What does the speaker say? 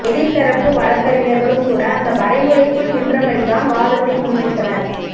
எதிர் தரப்பு வழக்கறிஞர்களும் கூட அந்த வரைமுறைக்குள் நின்றபடிதான் வாதத்தை முன்வைத்தனர்